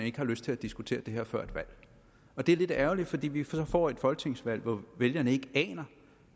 ikke har lyst til at diskutere det her før et valg det er lidt ærgerligt fordi vi så får et folketingsvalg hvor vælgerne ikke aner